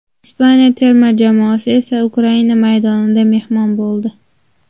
Ispaniya terma jamoasi esa Ukraina maydonida mehmon bo‘ldi.